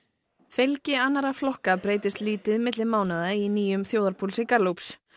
fylgi annarra flokka breytist lítið milli mánaða í nýjum þjóðarpúlsi Gallups